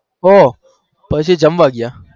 કો પસી જમવા ગયેયા